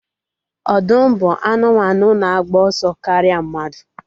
Ọdụm bụ anụmanụ na-agba ọsọ karịa mmadu